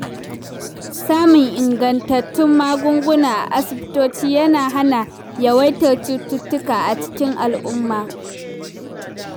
Samun ingantattun magunguna a asibitoci yana hana yawaitar cututtuka a cikin al'umma.